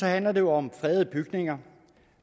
handler det om fredede bygninger